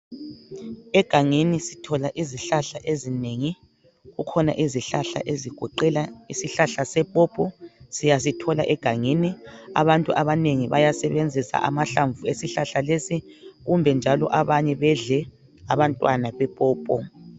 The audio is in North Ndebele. Egangeni sithola izihlahla ezinengi izihlahla ezigoqela isihlahla sepopo siyasithola egangeni. Abantu abangengi bayasebenzisa amhlamvu esihlahla lesi kumbe njalo bedle abantwana bepopo